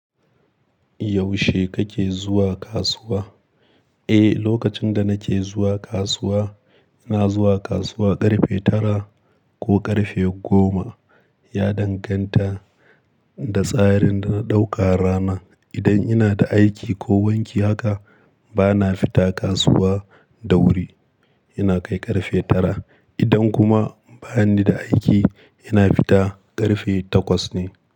Yaushe kake zuwa kasuwa? Eh, lokacin da nake zuwa kasuwa, na zuwa kasuwa ƙarfe tara ko ƙarfe goma. Ya danganta da tsarin da na ɗauka rana. Idan ina da aiki ko wanki haka, bana fita kasuwa da wuri. Ina kai ƙarfe tara. Idan kuma bani da aiki, ina fita ƙarfe takwas ne.